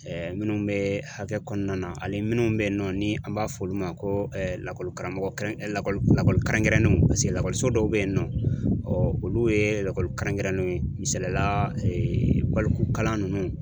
minnu bɛ hakɛ kɔnɔna na ani minnu bɛ ye nɔ ni an b'a fɔ olu ma ko lakɔli karamɔgɔ kɛrɛn lakɔli lakɔli kɛrɛnkɛrɛnnenw paseke lakɔliso dɔw bɛ yen nɔ olu ye lakɔli kɛrɛnkɛrɛnnenw ye misaliyala balikukalan ninnu.